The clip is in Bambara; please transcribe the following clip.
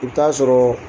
I bɛ taa sɔrɔ